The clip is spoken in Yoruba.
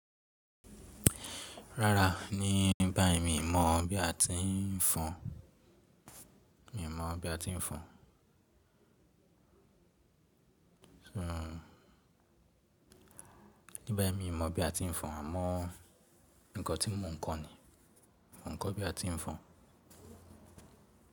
Rárá, ní báyí mi i mọ bí a ti ń fọn mọ̀ bí a ti ń fọn, àmọ́ nǹkan tí mo ń kọ́ ni, mọ̀ n ko bí a ti ń fọn.